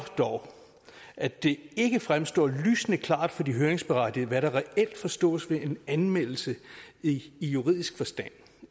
dog at det ikke fremstår lysende klart for de høringsberettigede hvad der reelt forstås ved en anmeldelse i juridisk forstand